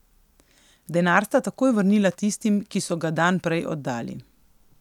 Denar sta takoj vrnila tistim, ki so ga dan prej oddali.